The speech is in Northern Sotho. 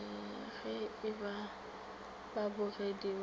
ge e ba bakgopedi ba